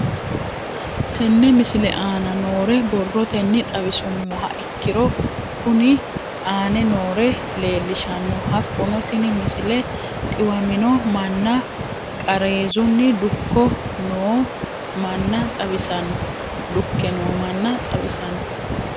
Tenne misile aana noore borrotenni xawisummoha ikirro kunni aane noore leelishano. Hakunno tinni misile dhiwaminno manna qaareezunni dukke noo manna xawissanno.